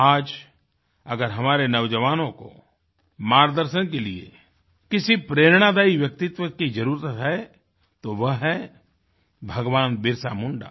आज अगर हमारे नौजवानों को मार्गदर्शन के लिए किसी प्रेरणादायी व्यक्तित्व की जरुरत है तो वह है भगवानबिरसा मुंडा